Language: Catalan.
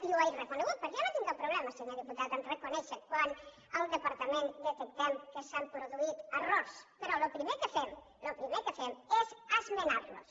i ho he reconegut perquè jo no tinc cap problema senyor diputat a reconèixer quan al departament detectem que s’han produït errors però el primer que fem és esmenarlos